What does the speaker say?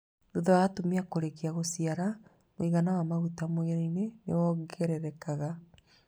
Thutha wa atumia kũrĩkia gũciara mũigana wa maguta mwĩrĩ-inĩ nĩ wongerekaga